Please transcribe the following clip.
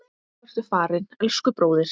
Nú ertu farinn, elsku bróðir.